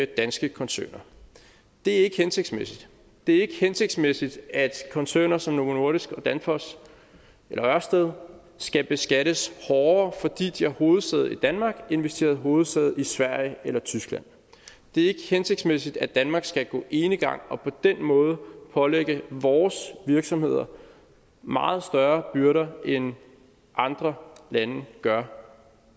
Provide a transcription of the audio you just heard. danske koncerner det er ikke hensigtsmæssigt det er ikke hensigtsmæssigt at koncerner som novo nordisk danfoss og ørsted skal beskattes hårdere fordi de har hovedsæde i danmark end hvis de havde hovedsæde i sverige eller tyskland det er ikke hensigtsmæssigt at danmark skal gå enegang og på den måde pålægge vores virksomheder meget større byrder end andre lande gør